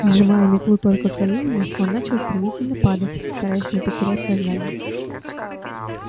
сжимая метлу только коленями он начал стремительно падать стараясь не потерять сознание